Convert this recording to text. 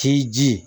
K'i ji